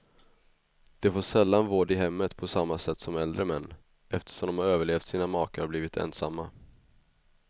De får sällan vård i hemmet på samma sätt som äldre män, eftersom de har överlevt sina makar och blivit ensamma.